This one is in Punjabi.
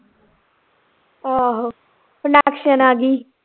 ਆਹੋ ਆ ਗਈ